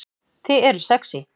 Þið eruð sexý